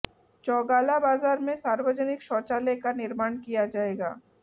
चौगाला बाजार में सार्वजनिक शौचालय का निमार्ण किया जाएगा